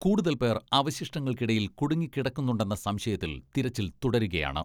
കൂടുതൽ പേർ അവശിഷ്ടങ്ങൾക്കിടയിൽ കുടുങ്ങിക്കിടക്കുന്നുണ്ടെന്ന സംശയത്തിൽ തിരച്ചിൽ തുടരുകയാണ്.